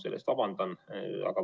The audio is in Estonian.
Selle pärast vabandan.